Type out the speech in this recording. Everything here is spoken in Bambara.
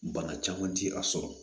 Bana caman ti a sɔrɔ